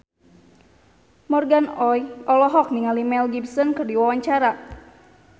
Morgan Oey olohok ningali Mel Gibson keur diwawancara